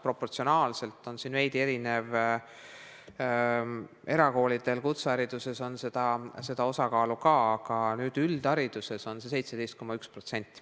Proportsionaalselt on sellel veidi erinev osakaal erakoolide ja kutsekoolide puhul, aga üldhariduses on see 17,1%.